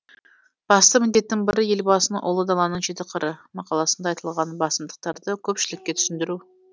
басты міндеттің бірі елбасының ұлы даланың жеті қыры мақаласында айтылған басымдықтарды көпшілікке түсіндіру